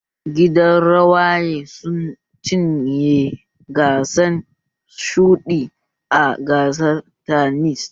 Gidan rawaye sun cinye gidan shuɗi a gasar tanis